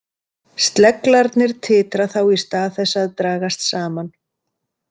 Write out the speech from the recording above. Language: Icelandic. Sleglarnir titra þá í stað þess að dragast saman.